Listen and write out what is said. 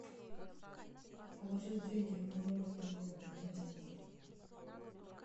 положить деньги на номер другого абонента